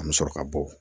An bɛ sɔrɔ ka bɔ